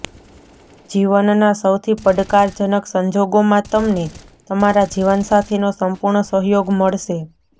જીવનના સૌથી પડકારજનક સંજોગોમાં તમને તમારા જીવનસાથીનો સંપૂર્ણ સહયોગ મળશે